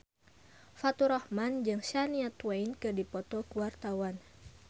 Faturrahman jeung Shania Twain keur dipoto ku wartawan